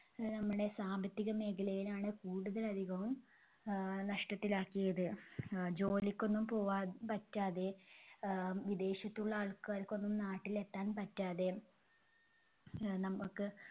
അഹ് നമ്മടെ സാമ്പത്തിക മേഖലയിലാണ് കൂടുതൽ അധികവും ആഹ് നഷ്ടത്തിലാക്കിയത്. അഹ് ജോലിക്കൊന്നും പോകാൻ പറ്റാതെ ആഹ് വിദേശത്തുള്ള ആൾക്കാർക്കൊന്നും നാട്ടിൽ എത്താൻ പറ്റാതെ അഹ് നമ്മക്ക്